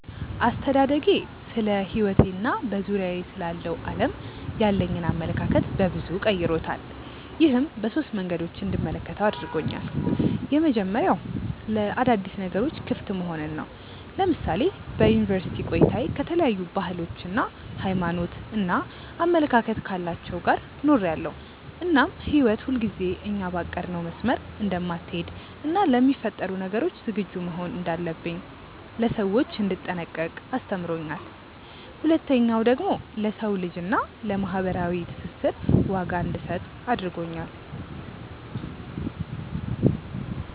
አስተዳደጌ ስለሕይወቴ እና በዙሪያዬ ስላለው ዓለም ያለኝን አመለካከት በበዙ ቀይሮታል። ይህም በሶስት መንገዶች እንድመለከተው አድርጎኛል። የመጀመሪያው ለአዳዲስ ነገሮች ክፍት መሆንን ነው። ለምሳሌ በዩኒቨርስቲ ቆይታዬ ከተለያዩ ባህሎች፣ ሃይማኖት እና አመለካከት ካላቸው ጋር ኖሬያለው እናም ህይወት ሁልጊዜ እኛ ባቀድነው መስመር እንደማትሀለድ እና ለሚፈጠሩ ነገሮች ዝግጁ መሆን እንዳለብኝ፣ ለሰዎች እንድጠነቀቅ አስተምሮኛል። ሁለተኛው ደግሞ ለሰው ልጅ እና ለማህበራዊ ትስስር ዋጋ እንድሰጥ አድርጎኛል።